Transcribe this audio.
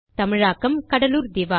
தமிழாக்கம் கடலுர் திவா